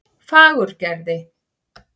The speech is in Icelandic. Fagurgerði